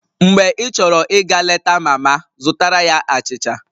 Mgbe ịchọrọ ịga leta mama, zụtara ya achịcha